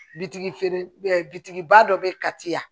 Bitigi feeren bitigi ba dɔ bɛ kati yan